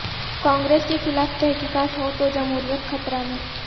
کانگریس کے خلاف تحقیقات ہو تو جمہوریت خطرہ میں